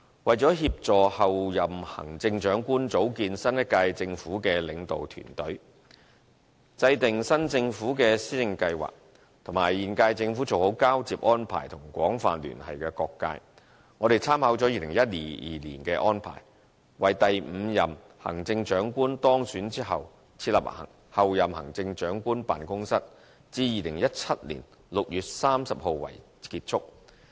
為協助候任行政長官組建新一屆政府的領導團隊，制訂新政府的施政計劃，以及與現屆政府做好交接安排和廣泛聯繫的各界，我們參考了2012年的安排，為第五任行政長官當選後設立候任行政長官辦公室，至2017年6月30日為結束。